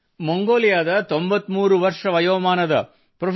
ಮಂಗೋಲಿಯಾದ 93 ರ ವಯೋಮಾನದ ಪ್ರೊ